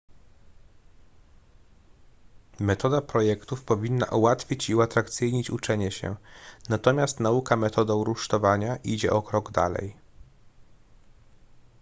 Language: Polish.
metoda projektów powinna ułatwić i uatrakcyjnić uczenie się natomiast nauka metodą rusztowania idzie o krok dalej